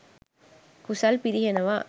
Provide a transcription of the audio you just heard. කුසල් පිරිහෙනවා.